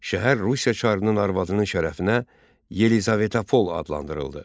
Şəhər Rusiya çarının arvadının şərəfinə Yelizavetapol adlandırıldı.